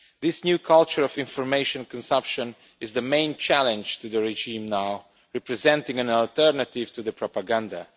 This new culture of information consumption is now the main challenge to the regime, representing an alternative to the propaganda.